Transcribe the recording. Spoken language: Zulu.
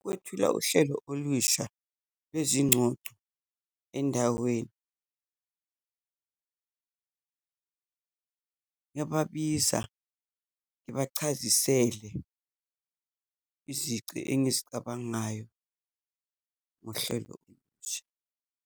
Ukwethula uhlelo olusha lwezingcoco endaweni. Ngingababiza, ngibachazisela izici engizicabangayo ngohlelo olusha.